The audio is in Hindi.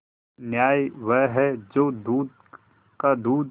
न्याय वह है जो दूध का दूध